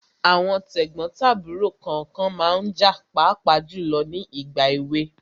Àwọn tẹ̀gbọ́n tàbúrò kànkan ma ń jà pàápàá jùlọ ní ìgbà èwe.